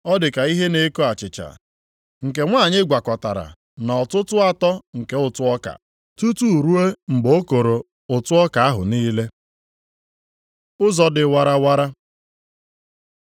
Ọ dị ka ihe na-eko achịcha + 13:21 Maọbụ, yiist nke nwanyị gwakọtara na ọtụtụ atọ nke ụtụ ọka, tutu ruo mgbe o koro ụtụ ọka ahụ niile.” Ụzọ dị warawara